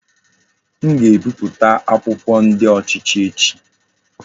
M ga-ebipụta akwụkwọ ndi ochichi echi.